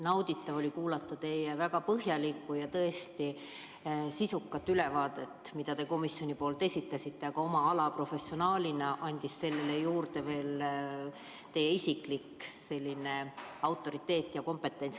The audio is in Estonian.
Nauditav oli kuulata teie väga põhjalikku ja tõesti sisukat ülevaadet, mida te komisjoni nimel esitasite, aga kuna te olete oma ala professionaal, siis tuli sellele juurde veel teie isiklik autoriteet ja kompetents.